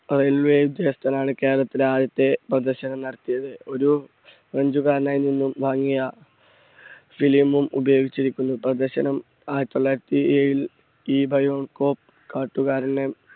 ആണ് കേരളത്തിലെ ആദ്യത്തെ പ്രദർശനം നടത്തിയത്. ഒരു french കാരനിൽ നിന്നും വാങ്ങിയ film ഉം ഉപയോഗിച്ചിരിക്കുന്നു. പ്രദർശനം ആയിരത്തി തൊള്ളായിരത്തി ഏഴിൽ